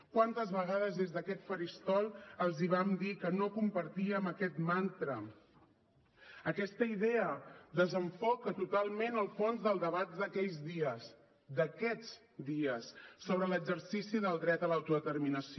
quantes vegades des d’aquest faristol els vam dir que no compartíem aquest mantra aquesta idea desenfoca totalment el fons del debat d’aquells dies d’aquests dies sobre l’exercici del dret a l’autodeterminació